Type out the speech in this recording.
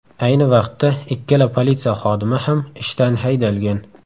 Ayni vaqtda ikkala politsiya xodimi ham ishdan haydalgan.